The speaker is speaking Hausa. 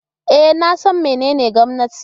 E, na san menene gwamnati.